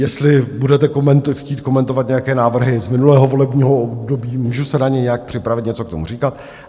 Jestli budete chtít komentovat nějaké návrhy z minulého volebního období, můžu se na ně nějak připravit, něco k tomu říkat.